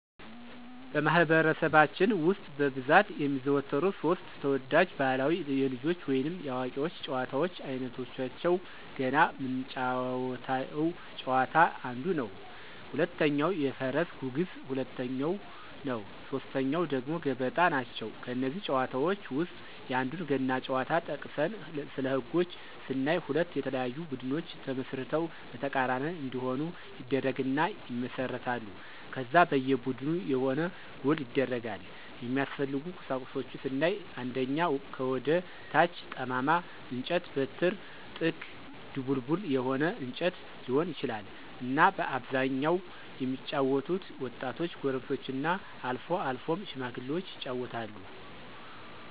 በማኅበረሰባችን ውስጥ በብዛት የሚዘወተሩ ሦስት (3) ተወዳጅ ባሕላዊ የልጆች ወይንም የአዋቂዎች ጨዋታዎች አይነቶቻቸው ገና ምንጫወተው ጨዋታ አንዱ ነው፣ ሁለተኛው የፈረስ ጉግስ ሁለተኛው ነው ሶስተኛው ደግሞ ገበጣ ናቸው። ከእነዚህ ጨዋታዎች ውስጥ የአንዱን ገና ጨዋታ ጠቅሰን ስለህጎች ስናይ ሁለት የተለያዩ ቡድኖች ተመስርተው በተቃራኒ እንዲሆኑ ይደረግና ይመሰረታሉ ከዛ በየ ቡድኑ የሆነ ጎል ይደረጋል፣ የሚያስፈልጉ ቁሳቁሶች ስናይ አንደኛ ከወደ ታች ጠማማ እንጨት(በትር)፣ጥንግ(ድቡልቡል የሆነ እንጨት ሊሆን ይችላል)እና በአብዛኛው የሚጫወቱት ወጣቶች፣ ጎረምሶችና አልፎ አልፎም ሽማግሎች ይጫወታሉ።